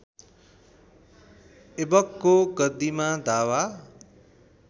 ऐबकको गद्दीमा दावा